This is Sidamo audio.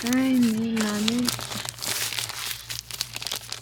kayinni lame kayinni lame lame Co.